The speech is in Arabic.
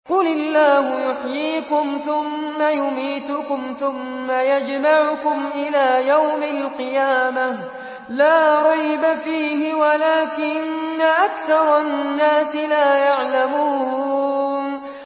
قُلِ اللَّهُ يُحْيِيكُمْ ثُمَّ يُمِيتُكُمْ ثُمَّ يَجْمَعُكُمْ إِلَىٰ يَوْمِ الْقِيَامَةِ لَا رَيْبَ فِيهِ وَلَٰكِنَّ أَكْثَرَ النَّاسِ لَا يَعْلَمُونَ